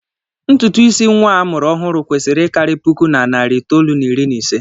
Ntụtụ isi nnwa a mụrụ ọhụụ kwesịrị ịkarị puku na narị itoolu na iri na ise